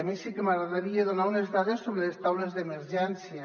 a mi sí que m’agradaria donar unes dades sobre les taules d’emergència